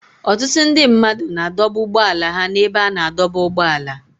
Ọtụtụ ndị mmadụ na-adọba ụgbọala ha n'ebe a na-adọba ụgbọala.